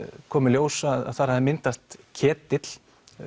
kom í ljós að þar hafði myndast ketill